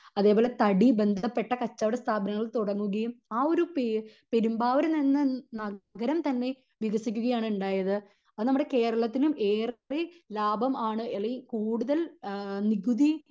അതേപോലെ തടി ബന്ധപ്പെട്ട കച്ചവട സ്ഥാപനങ്ങൾ തുടങ്ങുകയും ആ ഒരു പെരുമ്പാവൂർ എന്ന നഗരം തന്നെ വികസിക്കുകയാണ് ഉണ്ടായത് അത് നമ്മുടെ കേരളത്തിനും ഏറെ ലാഭം ആണ് അല്ലെങ്കിൽ കൂടുതൽ ആഹ് നികുതി